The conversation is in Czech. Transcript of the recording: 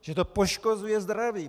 Že to poškozuje zdraví!